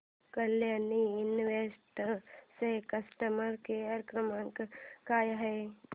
Kalyani Invest चा customer care क्रमांक काय आहे